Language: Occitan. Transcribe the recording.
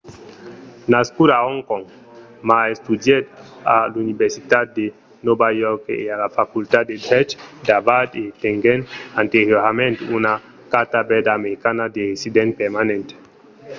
nascut a hong kong ma estudièt a l’universitat de nòva york e a la facultat de drech d'harvard e tenguèt anteriorament una carta verda americana de resident permanent